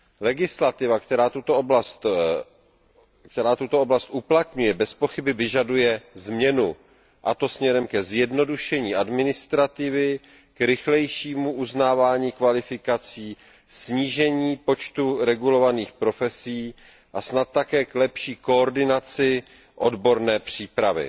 Legislativa, která se v této oblasti uplatňuje, bez pochyby vyžaduje změnu, a to směrem ke zjednodušení administrativy, k rychlejšímu uznávání kvalifikací, ke snížení počtu regulovaných profesí a snad také k lepší koordinaci odborné přípravy.